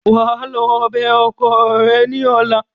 Wà á lọ bẹ ọkọ ẹ ní ọla!